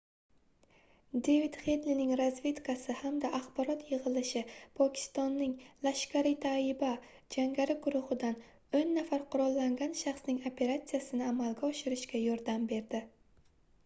devid hedlining razvedkasi hamda axborot yigʻishi pokistonning laskhar-e-taiba jangari guruhidan 10 nafar qurollangan shaxsning operatsiyasini amalga oshirishga yordam berdi